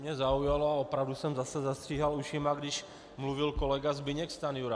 Mě zaujalo a opravdu jsem zase zastříhal ušima, když mluvil kolega Zbyněk Stanjura.